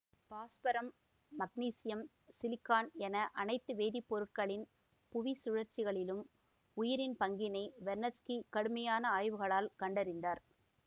பாஸ்பரம்மாக்னீசியம் silicon என அனைத்து வேதிப்பொருட்களின் புவிச்சுழல்களிலும் உயிரின் பங்கினை வெர்னத்ஸ்கி கடுமையான ஆய்வுகளால் கண்டறிந்தார்